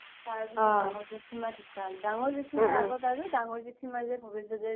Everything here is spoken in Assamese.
তাৰ পিছ্ত দাঙৰ জেথিমা ধুকাল দাঙৰ জেথিমাৰ আগত আৰু দাঙৰ জেথিমা আৰু ভবেশ দাদাৰ যে